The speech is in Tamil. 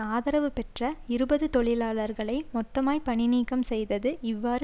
ஆதரவு பெற்ற இருபது தொழிலாளர்களை மொத்தமாய் பணிநீக்கம் செய்தது இவ்வாறு